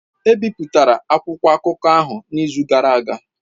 Ebipụtara akwụkwọ akụkọ ahụ n'izu gara aga